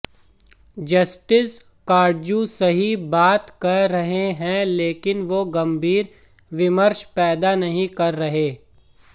justice Katju सही बात कह रहे हैं लेकिन वो गंभीर विमर्श पैदा नहीं कर रहे